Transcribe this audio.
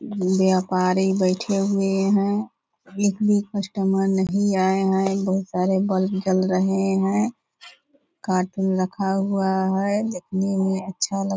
व्यापारी बैठे हुए हैं | एक भी कस्टमर नही आए हैं | बहुत सारे ब्लब भी जल रहे हैं | कार्टून रखा हुआ है | देखने मे अच्छा लगा --